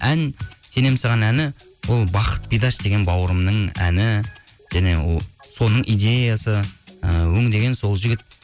ән сенемін саған әні ол бақыт бидаш деген бауырымның әні және соның идеясы і өңдеген сол жігіт